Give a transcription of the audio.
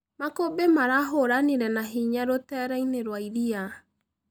Makũmbĩ marahũranĩre nahĩnya rũtereĩnĩ rwa ĩrĩa